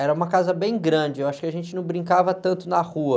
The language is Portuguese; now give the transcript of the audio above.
Era uma casa bem grande, eu acho que a gente não brincava tanto na rua.